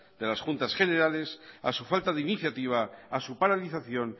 de las juntas generales a su falta de iniciativa a su paralización